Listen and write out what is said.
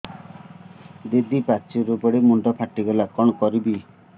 ଦିଦି ପାଚେରୀରୁ ପଡି ମୁଣ୍ଡ ଫାଟିଗଲା କଣ କରିବି